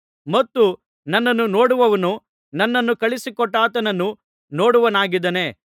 ಮತ್ತು ನನ್ನನ್ನು ನೋಡುವವನು ನನ್ನನ್ನು ಕಳುಹಿಸಿಕೊಟ್ಟಾತನನ್ನು ನೋಡುವವನಾಗಿದ್ದಾನೆ